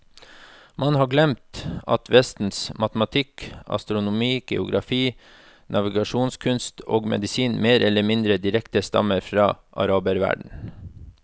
Man har glemt at vestens matematikk, astronomi, geografi, navigasjonskunst og medisin mer eller mindre direkte stammer fra araberverdenen.